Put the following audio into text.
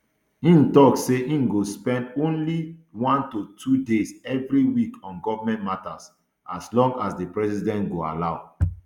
im tok say im go spend only one to two days every week on goment matters as long as di president go allow